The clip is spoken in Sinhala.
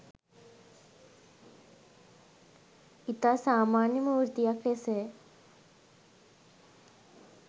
ඉතා සාමාන්‍ය මූර්තියක් ලෙස